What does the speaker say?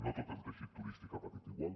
no tot el teixit turístic ha patit igual